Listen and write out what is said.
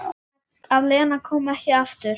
Að Lena komi ekki aftur.